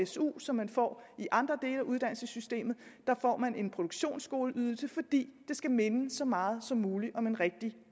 su som man får i andre dele af uddannelsessystemet her får man en produktionsskoleydelse fordi det skal minde så meget som muligt om en rigtig